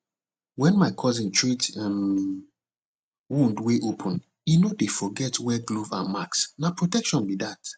when my cousin treat um wound wey open e no dey forget wear glove and mask na protection be that